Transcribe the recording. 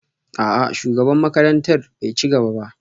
A'a shugaban makarantar bai ci gaba ba